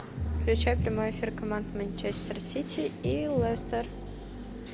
включай прямой эфир команд манчестер сити и лестер